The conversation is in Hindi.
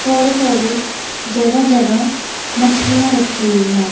थोड़ी थोड़ी जगह जगह मछलियां रखी हुई हैं।